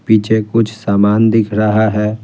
पीछे कुछ सामान दिख रहा है ।